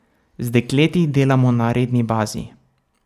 Z dekleti delamo na redni bazi.